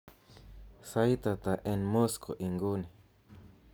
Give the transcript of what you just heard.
sait ata en Moscow en inguni